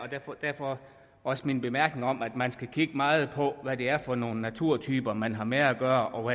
derfor også min bemærkning om at man skal kigge meget på hvad det er for nogle naturtyper man har med at gøre og